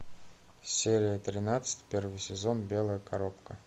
серия тринадцать первый сезон белая коробка